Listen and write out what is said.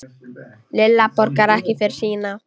Lilla borgar ekki fyrir sína.